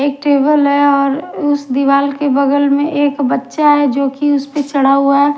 एक टेबल है और उस दीवाल के बगल में एक बच्चा है जो कि उसपे चढ़ा हुआ है।